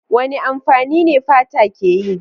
Wane amfani ne fata ke yi?